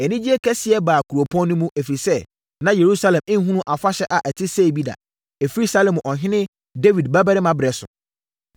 Anigyeɛ kɛseɛ baa kuropɔn no mu, ɛfiri sɛ, na Yerusalem nhunuu afahyɛ a ɛte sei bi da, ɛfiri Salomo ɔhene Dawid babarima berɛ so.